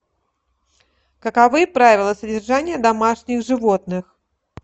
каковы правила содержания домашних животных